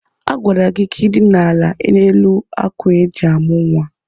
Agwara gị ka i dina ala n'elu ákwà eji amụ̀ nwa!